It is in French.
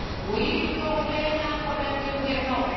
Oui, l'Union européenne a un problème de gouvernance.